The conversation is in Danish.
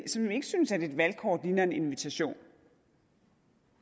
som ikke synes at et valgkort ligner en invitation